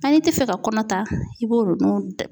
n'i tɛ fɛ ka kɔnɔ ta i b'o